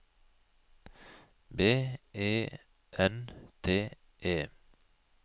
B E N T E